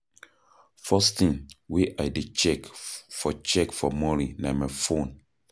First thing wey I dey check for check for morning na my phone.